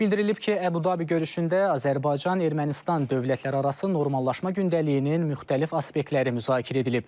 Bildirilib ki, Əbu-Dabi görüşündə Azərbaycan-Ermənistan dövlətlərarası normallaşma gündəliyinin müxtəlif aspektləri müzakirə edilib.